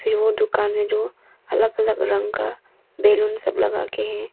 ए ओ दुकान में जो अलग अलग रंग का बैलून सब लगा के है।